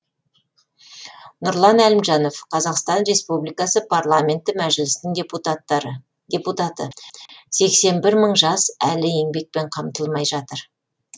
нұрлан әлімжанов қазақстан республикасы парламенті мәжілісінің депутаты сексен бір мың жас әлі еңбекпен қамтылмай жатыр